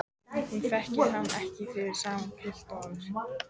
Hún þekkir hann ekki fyrir sama pilt og áður.